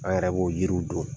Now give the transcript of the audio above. An yɛrɛ b'o yiriw don.